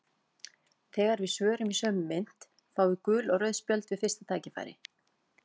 Þegar við svörum í sömu mynt fáum við gul og rauð spjöld við fyrsta tækifæri.